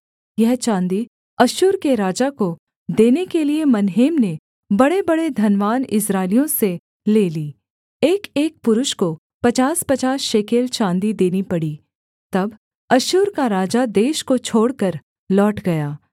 यह चाँदी अश्शूर के राजा को देने के लिये मनहेम ने बड़ेबड़े धनवान इस्राएलियों से ले ली एकएक पुरुष को पचासपचास शेकेल चाँदी देनी पड़ी तब अश्शूर का राजा देश को छोड़कर लौट गया